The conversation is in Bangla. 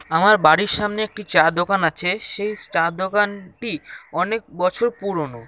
আমার বাড়ির সামনে একটি চা দোকান আছে সেই চা দোকা-ন-টি অনেক বছর পুরনো।